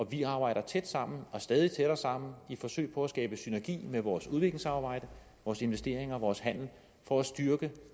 vi arbejder tæt sammen og stadig tættere sammen i forsøget på at skabe synergi i vores udviklingssamarbejde vores investeringer og vores handel for at styrke